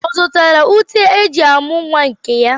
Ọ zụrụ ute eji amụ nwa nke ya?